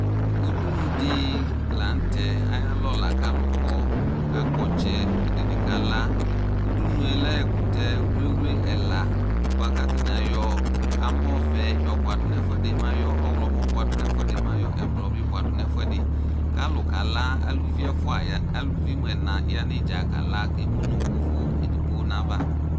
Udunudɩ la n'tɛ ayalɔ la k'slʋ kɔ, k'aka kpɔ ɔtsɛ, ɛdɩnɩ kala Udunu yɛ lɛ ɛkʋtɛ wliwli ɛla bʋa k'atanɩ ayɔ amɔ vɛ yɔ buadʋ n'ɛfʋɛdɩ ma yɔ ɔɣlɔmɔ bʋa dʋ n'ɛfʋɛdɩ mɛ ayɔ ɛblʋ bʋa dʋ n'ɛfʋɛdiɩ k'alʋ ka la, aluvi ɛfua ya, aluvi mʋ ɛna ya n'ɩdza kaa la k'emu nʋ ʋvʋ edigbo n'ava